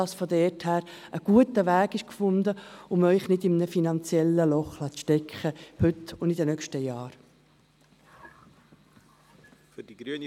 Damit ist ein guter Weg gefunden, um Sie nicht in einem finanziellen Loch stecken zu lassen – heute und in den nächsten Jahren.